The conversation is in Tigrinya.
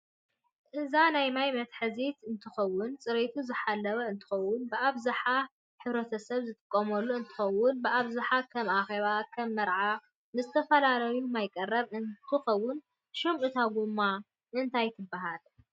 እዛ ናይ ማይ መትሕዝ እንትከውን ፀሬቱ ዝሓለወ እንትከውን ብኣብዛሓ ሕተሰብ ዝጥቀመሉ እንትትከውን ብኣብዛሓ ከም ኣኬባ፣ ከም መርዓ ንዝተፈላላዩ ማይ መቅረብ እንከውን ሽም እታ ጎማ እ ንታይ ትበሃል?